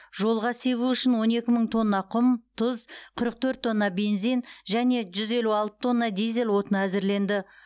жолға себу үшін он екі мың тонна құм тұз қырық төрт тонна бензин және жүз елу алты тонна дизель отыны әзірленді